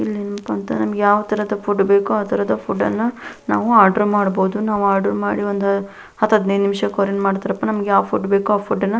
ಇಲ್ಲಿ ಏನಪ್ಪಾ ಅಂತ ನಮಗೆ ಯಾವ್ ತರಹದ ಫುಡ್ ಬೇಕೋ ಆಹ್ಹ್ ತರಹದ ಫುಡ್ ಅನ್ನು ನಾವು ಆರ್ಡರ್ ಮಾಡಬಹುದು ನಾವು ಆರ್ಡರ್ ಮಾಡಿ ಒಂದ ಹತ್ ಹದ್ನಾಯ್ಡು ನಿಮಿಷ ಕೊರಿಯರ್ ಮಾಡ್ತಾರಾ ನಮಗೆ ಯಾವ ಫುಡ್ ಬೇಕೋ ಆ ಫುಡ್ ಅನ್ನ --